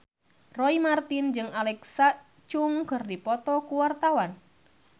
Roy Marten jeung Alexa Chung keur dipoto ku wartawan